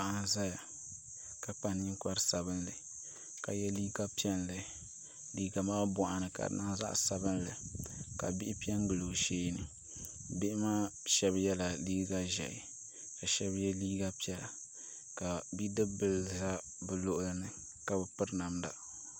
Paɣa n ʒɛya ka kpa ninkpari sabinli ka yɛ liiga piɛlli liiga maa boɣani ka di niŋ zaɣ sabinli ka bihi piɛ n gili o sheeni bihi maa shab yɛla liiga ʒiɛhi ka shab yɛ liiga piɛla ka Bidib bili ʒɛ bi luɣuli ni ka bi piri namda